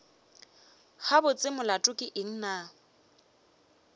gabotse molato ke eng na